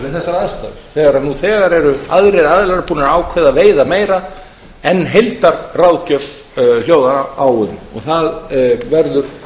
þessar aðstæður nú þegar hafa aðrir aðilar ákveðið að veiða meira en heildarráðgjöf hljóðar upp á það verður